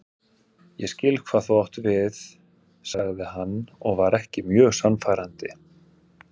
Ég skil hvað þú átt við sagði hann og var ekki mjög sannfærandi.